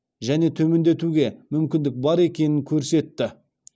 және төмендетуге мүмкіндік бар екенін көрсетті